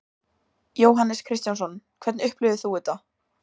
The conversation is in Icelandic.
Jóhannes Kristjánsson: Hvernig upplifir þú þetta?